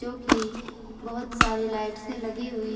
जो की बहोत सारी लाइट्से लगी हुई है।